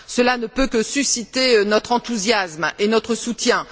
Cela ne peut que susciter notre enthousiasme et notre soutien.